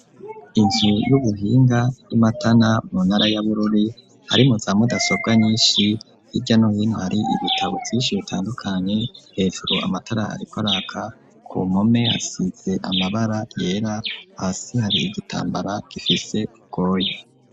Inzu y'ubuhinga y'i matana mu ntara y'abururi harimu za mudasobwa nyinshi hirya no hino hari ibitabo vyinshi bitandukanye hefero amataraariko raka ku mume asize amabara yera hasi hari igitambara gifise ubgoye.